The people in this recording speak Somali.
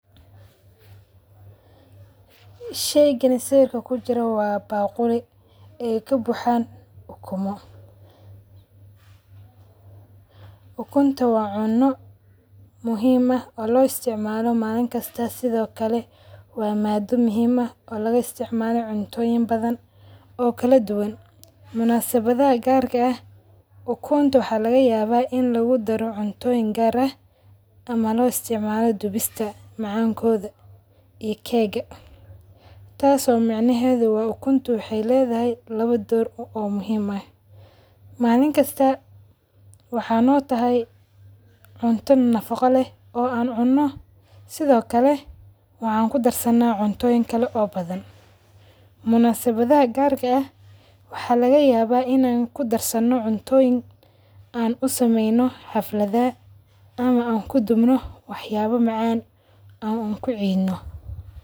Shaygan waa baaquli kujiraan ukumo. Ukunta waa cuno muhiim ah oo loo isticmaalo manin kasta sidho kale waa maada muhiim aah oo laga isticmalo cuntoyiin badhan oo kala duwaan. Munasabadadha gaarka aah ukunta waxa lagayawa in lagudaaro cuntoyiin gaar aah ama loo isticmaalo dubista macankodha iyo cake taaso macan nehedha ukunta waxay ledahay lawa door oo muhiim aah. Malin kasta waxay no tahay cunta nafaqo leeh oo an cuno sidho kale waxan kudarsana cuntoyiin kale oo badhan. Munasabadhaha qaarka aah waxa lagayaba inaa kudarsano cuntoyiin an u samaeyno xafalada ama an kudbno waxayaba macaan an kuciino.